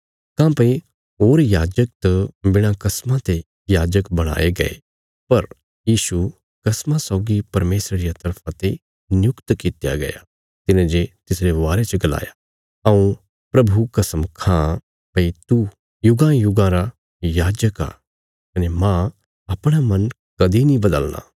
काँह्भई होर याजक त बिणा कसमा ते याजक बणाये गये पर यीशु कसमा सौगी परमेशरा रिया तरफा ते नियुक्त कित्या गया तिने जे तिसरे बारे च गलाया हऊँ प्रभु कसम खां भई तू युगानुयुगा रा याजक आ कने मांह अपणा मन कदीं नीं बदलना